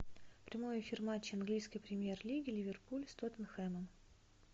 прямой эфир матча английской премьер лиги ливерпуль с тоттенхэмом